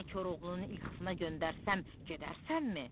Səni Koroğlunun ilxısına göndərsəm, gedərsənmi?